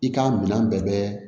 I ka minɛn bɛɛ bɛ